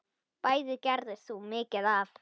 Bæði gerðir þú mikið af.